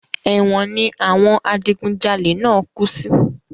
Èwọ̀n ni àwọn adigun jalè náà kú sí